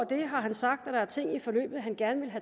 det har han sagt at der er ting i forløbet han gerne ville